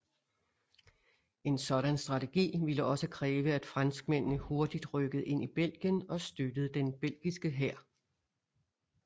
En sådan strategi ville også kræve at franskmændene hurtigt rykkede ind i Belgien og støttede den belgiske hær